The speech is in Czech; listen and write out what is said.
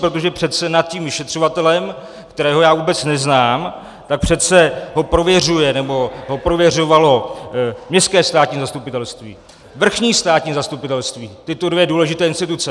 Protože přece nad tím vyšetřovatelem, kterého já vůbec neznám, tak přece ho prověřuje, nebo ho prověřovalo městské státní zastupitelství, vrchní státní zastupitelství, tyto dvě důležité instituce.